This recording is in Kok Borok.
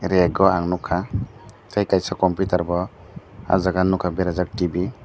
reg o ang nogka tei kaisa computer bo ah jaga nogka berajak tv.